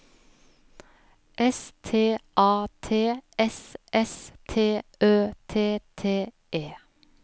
S T A T S S T Ø T T E